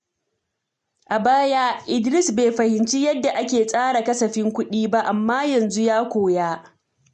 A baya, Idris bai fahimci yadda ake tsara kasafin kuɗi ba, amma yanzu ya koya.